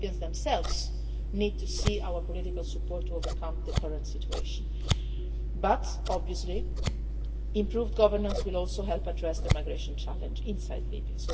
The Libyans themselves need to see our political support to overcome the current situation, but obviously improved governance will also help address the migration challenge inside